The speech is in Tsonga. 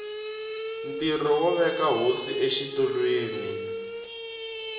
ntirho wo veka hosi exitulwini